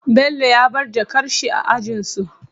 Bello ya bar jakar shi a ajinsu